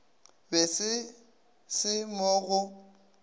be se se mo go